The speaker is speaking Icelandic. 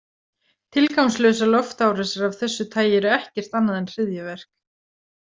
Tilgangslausar loftárásir af þessu tagi eru ekkert annað en hryðjuverk.